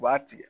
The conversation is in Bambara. U b'a tigɛ